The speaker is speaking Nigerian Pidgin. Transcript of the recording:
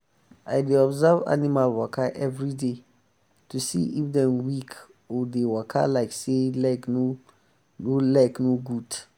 i dey observe animal waka everyday to see if dem weak or dey waka like say leg no leg no good.